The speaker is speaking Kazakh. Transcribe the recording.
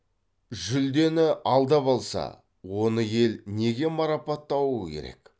жүлдені алдап алса оны ел неге марапаттауы керек